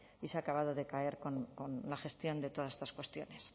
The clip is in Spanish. y se ha acabado de caer con la gestión de todas estas cuestiones